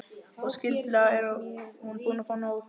Og skyndilega er hún búin að fá nóg.